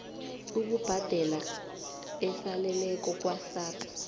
ukubhadela esaleleko kwasars